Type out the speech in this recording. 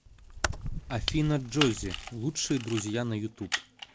афина джоззи лучшие друзья на ютуб